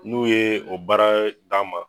N'u ye o baara d'an ma